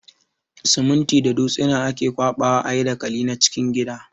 Siminti da dutsina ake ƙwaɓa wa a yi dakali na cikin gida.